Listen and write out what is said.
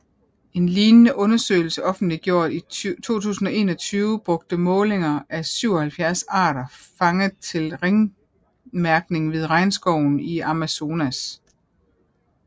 En lignende undersøgelse offentliggjort i 2021 brugte målinger af 77 arter fanget til ringmærkning ved Regnskoven i Amazonas